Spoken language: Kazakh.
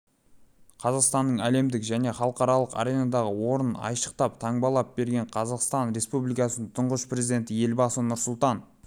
қазақстанның әлемдік және халықаралық аренадағы орнын айшықтап таңбалап берген қазақстан республикасының тұңғыш президенті елбасы нұрсұлтан